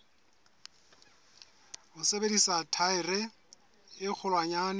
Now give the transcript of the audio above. ho sebedisa thaere e kgolwanyane